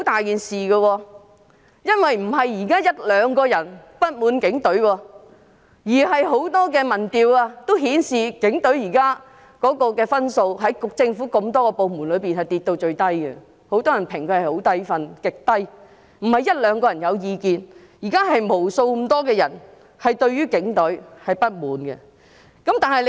現在不只是一兩個人不滿警隊，很多民調均顯示現時警隊的分數在政府眾多部門中跌至最低，很多人給予極低的評分，不是一兩個人對警方有意見，而是無數人對警隊有所不滿。